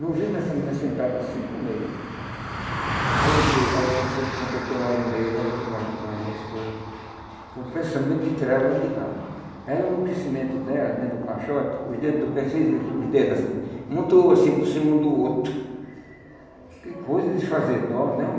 Não vimos essa menina sentada cinco meses. Aí eu digo, aí quando foi que completou nove meses, aí eu fui mais mais a minha esposa, com pensamento de tirar ela de lá. Ela no crescimento dela, dentro do caixote, os dedos do pé fez isso. Os dedos assim, muito assim por cima um do outro Que coisa de fazer dó, não?